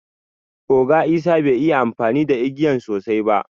Oga isah bai yi amfani da igiyan sosai ba.